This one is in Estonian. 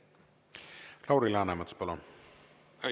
Lauri Läänemets, palun!